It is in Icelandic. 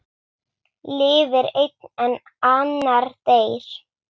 Lifir einn en annar deyr?